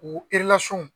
U